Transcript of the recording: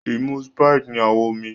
imú Sprite ní awọ omí.